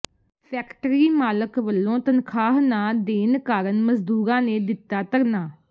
factory ਮਾਲਕ ਵੱਲੋਂ ਤਨਖਾਹ ਨਾ ਦੇਣ ਕਾਰਨ ਮਜ਼ਦੂਰਾਂ ਨੇ ਦਿੱਤਾ ਧਰਨਾ